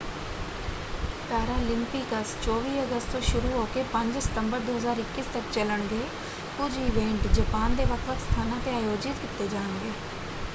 Paralympics 24 ਅਗਸਤ ਤੋਂ ਸ਼ੁਰੂ ਹੋ ਕੇ 5 ਸਤੰਬਰ 2021 ਤੱਕ ਚਲਣਗੇ। ਕੁਝ ਇਵੈਂਟ ਜਪਾਨ ਦੇ ਵੱਖ ਵੱਖ ਸਥਾਨਾਂ ‘ਤੇ ਆਯੋਜਿਤ ਕੀਤੇ ਜਾਣਗੇ।